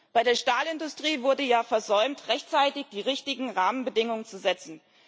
Bei der Stahlindustrie wurde ja versäumt, rechtzeitig die richtigen Rahmenbedingungen zu setzen.